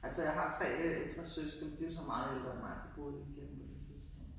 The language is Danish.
Altså jeg har tre øh ældre søskende men de jo så meget ældre end mig, de boede ikke hjemme på noget tidspunkt